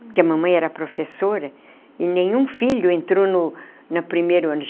Porque a mamãe era professora, e nenhum filho entrou no no primeiro ano.